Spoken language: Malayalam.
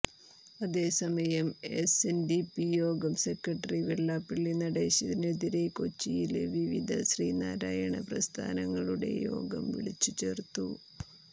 അതെസമയം എസ്എന്ഡിപി യോഗം സെക്രട്ടറി വെള്ളാപ്പള്ളി നടേശനെതിരെ കൊച്ചിയില് വിവിധ ശ്രീനാരായണ പ്രസ്ഥാനങങളുടെ യോഗം വിളിച്ചു ചേര്ത്തു